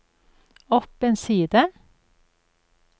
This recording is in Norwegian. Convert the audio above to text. opp en side